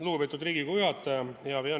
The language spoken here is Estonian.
Lugupeetud Riigikogu juhataja!